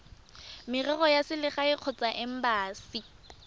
merero ya selegae kgotsa embasi